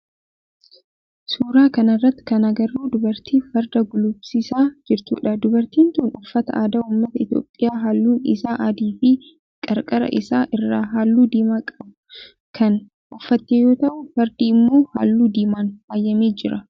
Suuraa kana irratti kan agarru dubartii farda gulufsiisaa jirtudha. Dubartiin tun uffata aadaa ummata Itiyoophiyaa halluun isaa adii fi qarqara isaa irraa halluu diimaa qabu kan uffatte yoo ta'u fardi immoo halluu diimaan faayamee jira.